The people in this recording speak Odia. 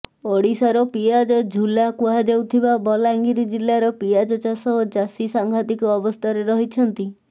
ଓଡ଼ିଶାର ପିଆଜ ଝୁଲା କୁହାଯାଉଥିବା ବଲାଙ୍ଗୀର ଜିଲ୍ଲାରେ ପିଆଜ ଚାଷ ଓ ଚାଷୀ ସାଂଘାତିକ ଅବସ୍ଥାରେ ରହିଛନ୍ତି